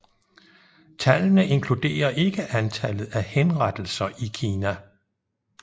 Tallene inkluderer ikke antallet af henrettelser i Kina